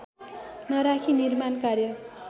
नराखी निर्माण कार्य